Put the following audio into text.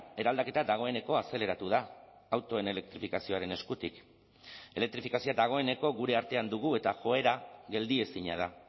eraldaketa dagoeneko azeleratu da autoen elektrifikazioaren eskutik elektrifikazioa dagoeneko gure artean dugu eta joera geldiezina da